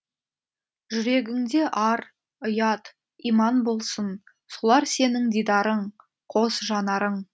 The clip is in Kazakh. жүрегіңде ар ұят иман болсын солар сенің дидарың қос жанарың